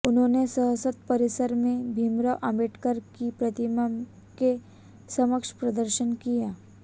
उन्होंने संसद परिसर में भीमराव आंबेडकर की प्रतिमा के समक्ष प्रदर्शन किया